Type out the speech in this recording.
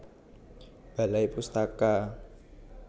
Balai Pustaka